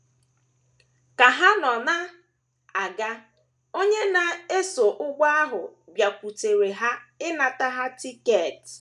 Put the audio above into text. Ka ha nọ na - aga, onye na - eso ụgbọ ahụ bịakwutere ya ịnata ya tiketi.